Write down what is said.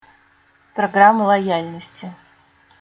программа лояльности